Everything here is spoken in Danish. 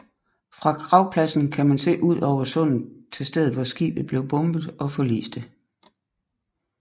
Fra gravpladsen kan man se ud over sundet til stedet hvor skibet blev bombet og forliste